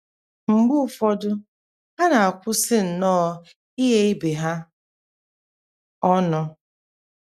Mgbe ụfọdụ, ha na - akwụsị nnọọ ighe ibe ha ọnụ.